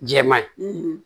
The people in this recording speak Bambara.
Jɛman ye